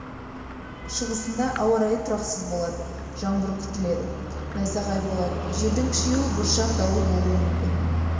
шығысында ауа райы тұрақсыз болады жаңбыр күтіледі найзағай болады желдің күшеюі бұршақ дауыл болуы мүмкін